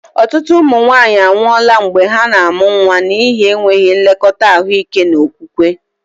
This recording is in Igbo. Ọtụtụ ụmụ nwanyị anwụọla mgbe ha na-amụ nwa n'ihi enweghị nlekọta ahụike na okwukwe.